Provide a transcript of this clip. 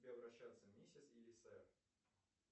к тебе обращаться миссис или сэр